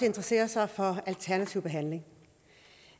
interesserer sig for alternativ behandling